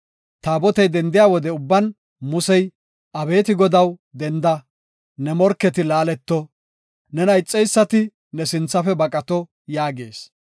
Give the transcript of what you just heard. Taabotey dendiya wode ubban Musey, “Abeeti Godaw, denda; ne morketi laaleto; nena ixeysati ne sinthafe baqato” yaagees.